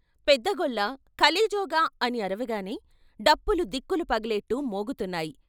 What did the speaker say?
పెద్దగొల్ల " ఖ శేజోగా " అని అరవగానే డప్పులు దిక్కులు పగిలేట్టు మోగుతున్నాయి.